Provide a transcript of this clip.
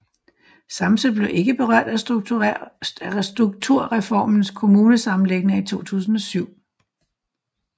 Samsø blev ikke berørt af strukturreformens kommunesammenlægninger i 2007